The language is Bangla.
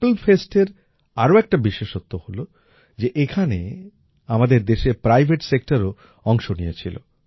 পার্পল Festএর আরো একটা বিশেষত্ব হল যে এখানে আমাদের দেশের প্রাইভেট Sectorও অংশ নিয়েছিল